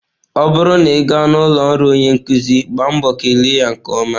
Ọ bụrụ na ị gaa n'ụlọ ọrụ onye nkuzi, gbaa mbọ kele ya nke ọma.